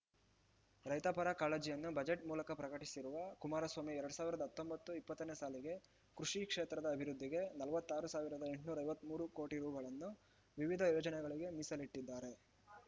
ರೈತಪರ ಕಾಳಜಿಯನ್ನು ಬಜೆಟ್ ಮೂಲಕ ಪ್ರಕಟಿಸಿರುವ ಕುಮಾರಸ್ವಾಮಿ ಎರಡ್ ಸಾವಿರದ ಹತ್ತೊಂಬತ್ತು ಇಪ್ಪತ್ತನೇ ಸಾಲಿಗೆ ಕೃಷಿ ಕ್ಷೇತ್ರದ ಅಭಿವೃದ್ಧಿಗೆ ನಲವತ್ತಾರು ಸಾವಿರದ ಎಂಟುನೂರ ಐವತ್ತ್ ಮೂರು ಕೋಟಿ ರೂ ಗಳನ್ನು ವಿವಿಧ ಯೋಜನೆಗಳಿಗೆ ಮೀಸಲಿಟ್ಟಿದ್ದಾರೆ